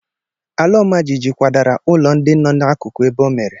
Ala ọma jijiji kwadara ụlọ ndị nọ n'akụkụ ebe o mere.